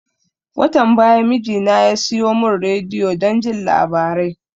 Watan baya mijina ya siyo mun rediyo don jin labarai